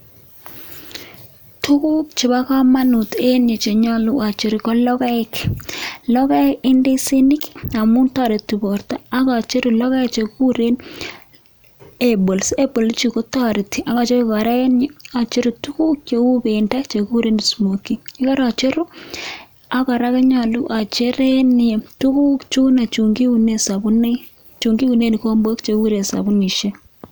tuguk chebo kamanut eng yuu chenyolu achur ko logoek, logoek ingb ndisinik amuu toreti borto ak acheru logoek che kiigure apples apples chu ko tareti ak achoruu tuguk cheu beendo che kiguure smokii goora acheruu ak kora kanyaluu achereni tuguk chuu chokiunee sambunik, chokiunee viombok viurok ak sabunishek